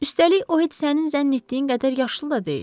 Üstəlik, o heç sənin zənn etdiyin qədər yaşlı da deyil.